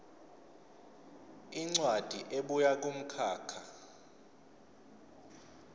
incwadi ebuya kumkhakha